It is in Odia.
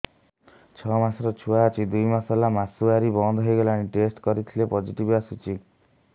ଛଅ ମାସର ଛୁଆ ଅଛି ଦୁଇ ମାସ ହେଲା ମାସୁଆରି ବନ୍ଦ ହେଇଗଲାଣି ଟେଷ୍ଟ କରିଥିଲି ପୋଜିଟିଭ ଆସିଛି